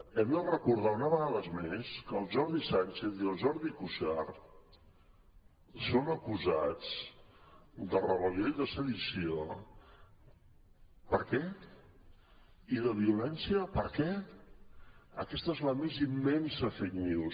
hem de recordar una vegada més que el jordi sànchez i el jordi cuixart són acusats de rebel·lió i de sedició per què i de violència per què aquesta és la més immensa fake news